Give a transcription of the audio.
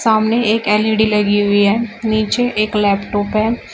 सामने एक एल_ई_डी लगी हुई है नीचे एक लैपटॉप है।